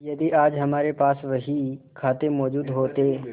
यदि आज हमारे पास बहीखाते मौजूद होते